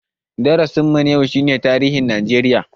Darasin mu na yau shi ne tarihin Najeriya